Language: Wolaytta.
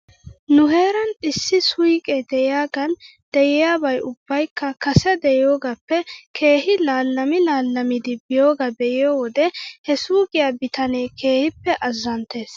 Nu heeran issi suyqee de'iyaagan de'iyabay ubbabaykka kase de'iyoogaappe keehi laalami laalamidi biyoogaa be'iyoo wode he suyqqiyaa bitanee keehippe azzanttes.